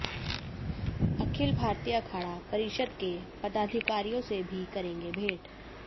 अखिल भारतीय अखाड़ा परिषद् के पदाधिकारियों से भी करेंगे भेंट